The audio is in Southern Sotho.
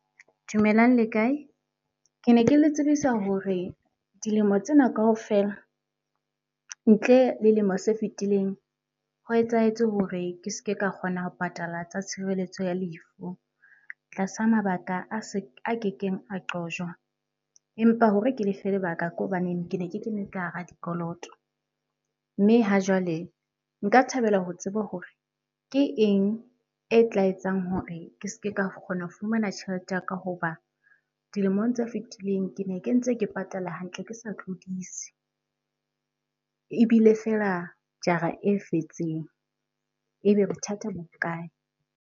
Dumelang le kae? Ke ne ke le tsebisa hore dilemo tsena kaofela ntle le lemo se fetileng, ho etsahetse hore ke ske ka kgona ho patala tsa tshireletso ya lefu tlasa mabaka a kekeng a qojwa. Empa hore ke lefe lebaka ke hobaneng ke ne ke kene ka hara dikoloto. Mme ha jwale, nka thabela ho tseba hore ke eng e tla etsang hore ke ske ka kgona ho fumana tjhelete ya ka, hoba dilemong tse fetileng ke ne ke ntse ke patala hantle ke sa tlodise. Ebile feela jara e fetseng, ebe bothata bo kae?